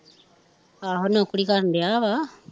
ਅਹਪ ਨੋਕਰੀ ਕਰਨ ਦਿਆ ਵਾਂ